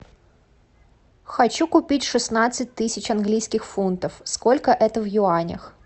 хочу купить шестнадцать тысяч английских фунтов сколько это в юанях